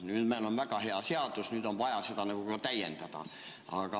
Nüüd meil on väga hea seadus, aga on vaja seda veel täiendada.